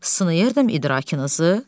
Sınıyırdım idrakınızı.